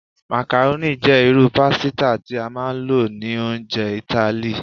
Macaroni jẹ iru pasita ti a maa n lo ni ounjẹ Itali